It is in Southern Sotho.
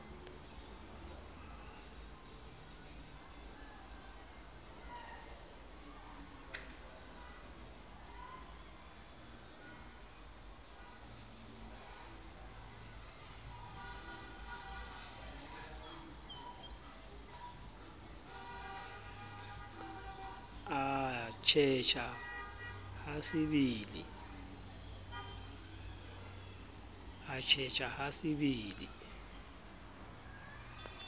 atjhetjha ha se be le